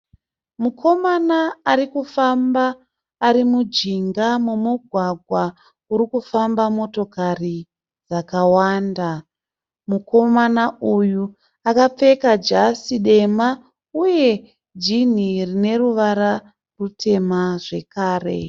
Mukomana ari kufamba ari mujinga momugwagwa uri kufamba motokari dzakawanda. Mukomana uyu akapfeka jasi dema uye jini rine ruvara rutema zvekare.